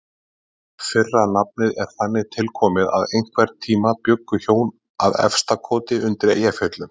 Fyrra nafnið er þannig tilkomið að einhvern tíma bjuggu hjón að Efstakoti undir Eyjafjöllum.